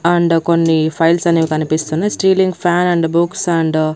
And కొన్ని files అనేవి కనిపిస్తున్నయి ceiling fan and books and .